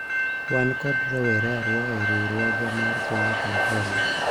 wan kod rowere ariyo e riwruogwa mar kungo kod hola